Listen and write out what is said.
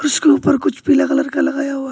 उसके ऊपर कुछ पीला कलर का लगाया हुआ है।